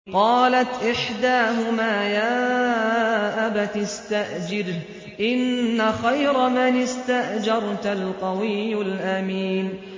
قَالَتْ إِحْدَاهُمَا يَا أَبَتِ اسْتَأْجِرْهُ ۖ إِنَّ خَيْرَ مَنِ اسْتَأْجَرْتَ الْقَوِيُّ الْأَمِينُ